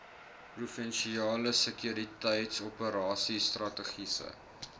provinsiale sekuriteitsoperasies strategiese